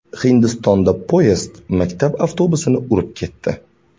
Hindistonda poyezd maktab avtobusini urib ketdi.